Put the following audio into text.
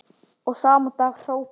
Og sama dag hrópaði